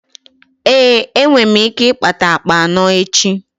Ee, enwe m ike ịkpata akpa anọ echi.